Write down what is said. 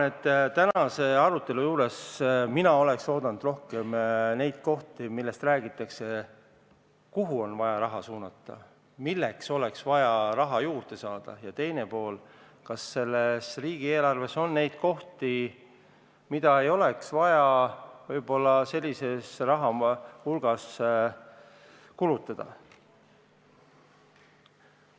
Tänaselt arutelult mina ootasin, et rohkem räägitakse sellest, kuhu on vaja raha suunata, milleks oleks vaja raha juurde saada, ja teine pool: kas riigieelarves on kuluartikleid, mis võib-olla sellises hulgas raha ei vaja.